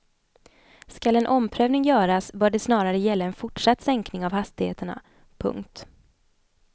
Skall en omprövning göras bör det snarare gälla en fortsatt sänkning av hastigheterna. punkt